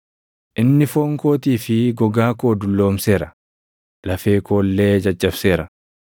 Inni foon kootii fi gogaa koo dulloomseera; lafee koo illee caccabseera.